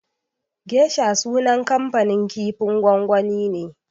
Geisha sunan kamfanin kifin gwangwani ne.